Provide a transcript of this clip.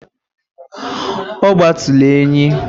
Ọgbatuluenyi